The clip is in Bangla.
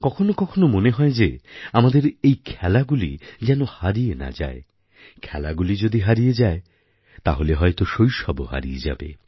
কখনও কখনও মনে হয় যে আমাদের এই খেলাগুলি যেন হারিয়ে না যায় খেলাগুলি যদি হারিয়ে যায় তাহলে হয়ত শৈশবও হারিয়ে যাবে